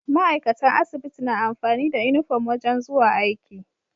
Ma'aikatan asibiti na amfani da inufom wajan zuwa aiki